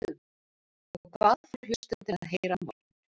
Og hvað fá hlustendur að heyra á morgun?